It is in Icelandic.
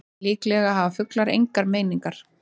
Líklega hafa fuglar engar meiningar.